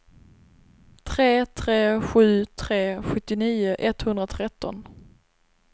tre tre sju tre sjuttionio etthundratretton